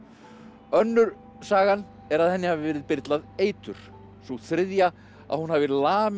önnur sagan er að henni hafi verið eitur sú þriðja að hún hefði lamið